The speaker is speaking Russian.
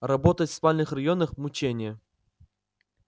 работать в спальных районах мучение